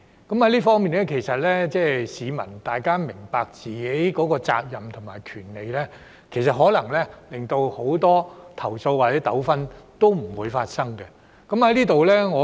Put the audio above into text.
就這方面，如果市民明白自己的責任和權利，很多投訴或糾紛可能不會發生。